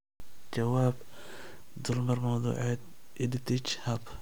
Jawaab: Dulmar mawduuceed EdTech Hub.